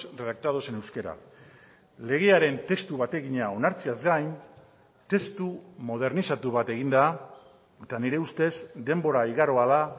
redactados en euskera legearen testu bategina onartzeaz gain testu modernizatu bat egin da eta nire ustez denbora igaroa da